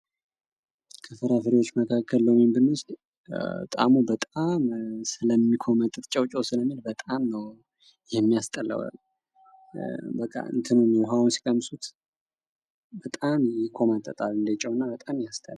ከፍራፍሬዎች ውስጥ ሎሚን ብንወስድ ጣዕሙ በጣም ስለሚቆመጥጥ፤ ጨው ጨው ስለሚል በጣም ሚያስጠላ ጣዕም አለው።